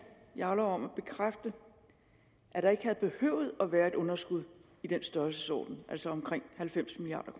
jarlov om at bekræfte at der ikke havde behøvet at være et underskud i den størrelsesorden altså omkring halvfems milliard